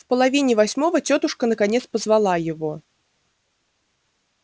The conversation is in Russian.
в половине восьмого тётушка наконец позвала его